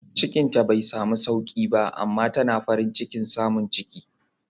Cikinta bai samu sauki ba amma tana farin cikin samun ciki